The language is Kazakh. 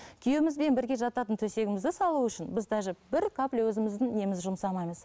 күйеуімізбен бірге жататын төсегімізді салу үшін біз даже бір капля өзіміздің немізді жұмсамаймыз